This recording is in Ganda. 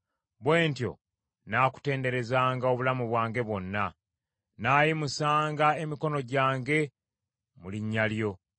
Bwe ntyo nnaakutenderezanga obulamu bwange bwonna; nnaayimusanga emikono gyange mu linnya lyo.